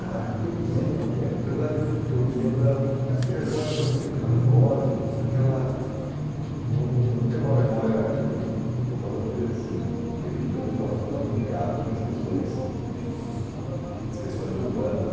Ah, o que eu me lembro eh na verdade, eu o que eu me lembro era muito de ser aquela muito aquelas lojas, muito aquela... Não Eu não tenho uma memória, quer dizer estou falando de assim um período que eu não estava tão ligado nas questões urbanas nas questões urbanas.